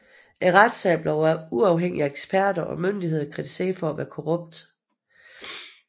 Retssagen blev af uafhængige eksperter og myndigheder kritiseret for at være korrupt